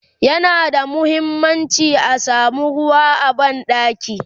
yana da muhimmanci a samu ruwa a banɗaki